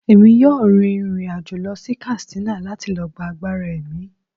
Emi yọọ rín irín-ajo lọ sí Katsina lati lo gba àgbará emí